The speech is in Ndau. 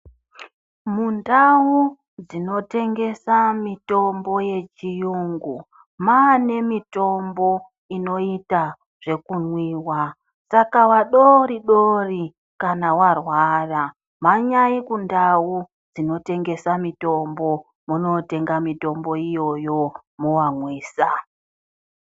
Mundawu dzinotengesa mitombo yechiungu, manemitombo inoita zvekumwiwa. Saka vadori dori, kana warwara, mhanyayi kundawu dzinotengesa mitombo munotenga mitombo iyoyo movangwisa.